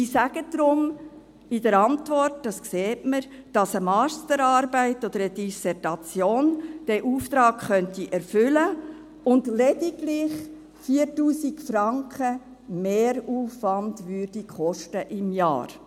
Sie sagen darum in der Antwort – das sieht man –, dass eine Masterarbeit oder eine Dissertation diesen Auftrag erfüllen könnte und dass dies lediglich 4000 Franken Mehraufwand im Jahr kosten würde.